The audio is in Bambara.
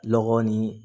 Lɔgɔ ni